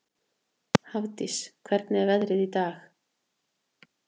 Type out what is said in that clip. Hafdís, hvernig er veðrið í dag?